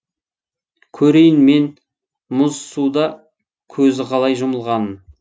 көрейін мен мұз суда көзі қалай жұмылғанын